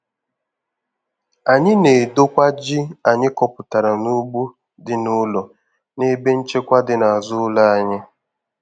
Anyị na-edokwa ji anyị kọpụtara n'ugbo dị n'ụlọ n'ebe nchekwa dị n'azụ ụlọ anyị.